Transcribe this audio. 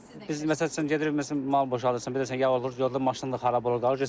Biz məsəl üçün gedirik, məsələn, mal boşaldırsan, bilirsən yağ olur, yolda maşın da xarab olur, qalır.